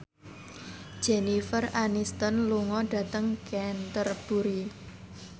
Jennifer Aniston lunga dhateng Canterbury